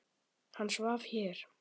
Hann svaf hér.